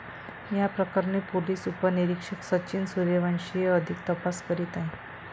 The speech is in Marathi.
याप्रकरणी पोलीस उपनिरीक्षक सचिन सूर्यवंशी हे अधिक तपास करीत आहेत.